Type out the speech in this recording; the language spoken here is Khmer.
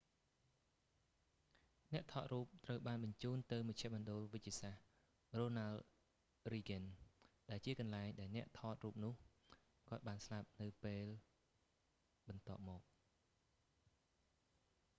អ្នកថតរូបត្រូវបានបញ្ជូនទៅមជ្ឈមណ្ឌលវេជ្ជសាស្ត្រ រ៉ូណាល់ រីហ្គឹន ronald reagan ucla ដែលជាកន្លែងដែលអ្នកថតរូបនោះគាត់បានស្លាប់នៅពេលបន្ទាប់មក